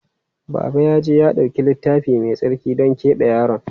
Baba ya je ya ɗauki Littafi Mai Tsarki don keɓe yaron.